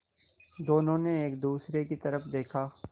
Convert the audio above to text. दोनों ने एक दूसरे की तरफ़ देखा